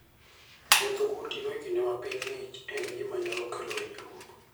Wuotho gotieno e kinde ma piny ng'ich en gima nyalo kelo hinyruok.